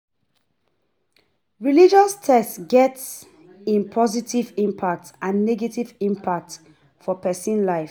Religious text get im positive impact and negative impact for persin life